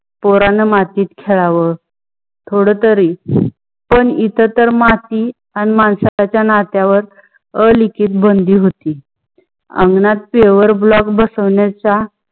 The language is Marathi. पोरणा मातीत खेळावं थोड तरी, पान इथ तर माती माणुसकीच्या नातया वर अळिकीच बंदी होती. आंगणात pave block बसावयचा